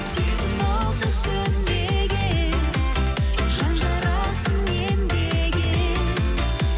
сезім оты сөнбеген жан жарасын емдеген